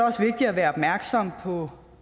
også vigtigt at være opmærksom på